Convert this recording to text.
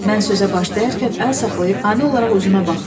Mən sözə başlayarkən əl saxlayıb ani olaraq üzümə baxdı.